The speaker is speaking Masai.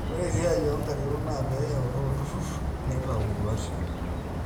ore esiai oonkarikok naa pee eutaa olturrur neitau induaat